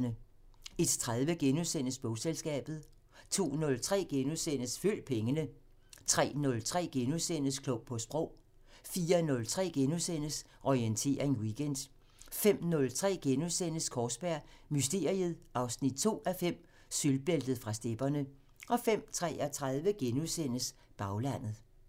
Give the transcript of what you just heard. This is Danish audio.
01:30: Bogselskabet * 02:03: Følg pengene * 03:03: Klog på Sprog * 04:03: Orientering Weekend * 05:03: Kaarsberg Mysteriet 2:5 – Sølvbæltet fra stepperne * 05:33: Baglandet *